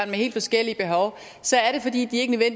med helt forskellige behov